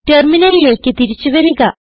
ടെർമിനലിലേക്ക് തിരിച്ചു വരിക